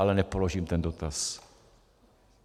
Ale nepoložím ten dotaz.